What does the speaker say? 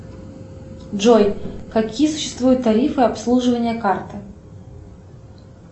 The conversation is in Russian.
джой какие существуют тарифы обслуживания карты